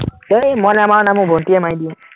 আহ মই নাই মৰা নহয়, মোৰ ভন্টীয়ে মাৰি দিয়ে